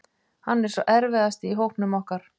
Hann er sá erfiðasti í hópnum okkar.